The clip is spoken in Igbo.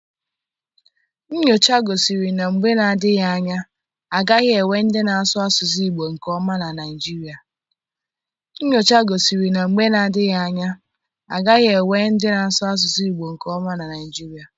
Nnyocha gosiri na mgbe na-adịghị anya, a gaghị enwe ndị na-asụ asụsụ Igbo nke ọma na Naịjirịa.